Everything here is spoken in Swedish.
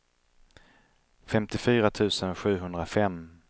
femtiofyra tusen sjuhundrafem